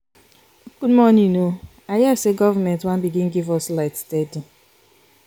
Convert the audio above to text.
good morning o i hear sey government wan begin give us light steady.